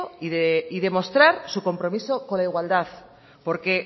y demostrar su compromiso con la igualdad porque